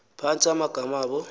phantsi amagama abo